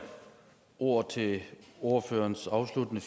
ordet til ordførerens afsluttende